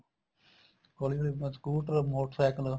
ਹੋਲੀ ਹੋਲੀ bus scooter motor cycle